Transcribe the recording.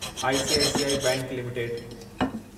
ICICI bank limited